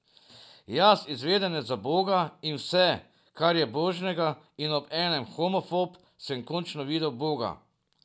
Jaz, izvedenec za Boga in vse, kar je Božjega, in obenem homofob, sem končno videl Boga.